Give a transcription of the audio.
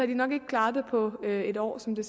den nok ikke klaret det på en år som det